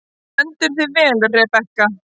Þú stendur þig vel, Rebekka!